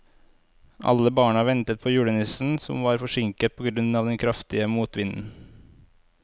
Alle barna ventet på julenissen, som var forsinket på grunn av den kraftige motvinden.